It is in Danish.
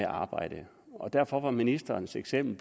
arbejde og derfor var ministerens eksempel